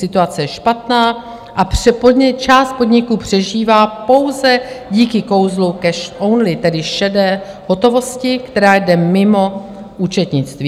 Situace je špatná a část podniků přežívá pouze díky kouzlu cash only, tedy šedé hotovosti, která jde mimo účetnictví.